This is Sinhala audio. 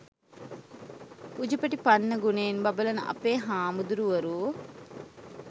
උජුපටිපන්න ගුණයෙන් බබළන අපේ හාමුදුරුවරු